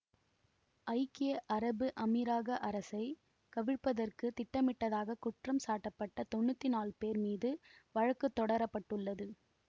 ஐக்கிய அரபு அமீரக அரசை கவிழ்ப்பதற்குத் திட்டமிட்டதாகக் குற்றம் சாட்டப்பட்ட தொன்னூற்தி நாழு பேர் மீது வழக்கு தொடர பட்டுள்ளது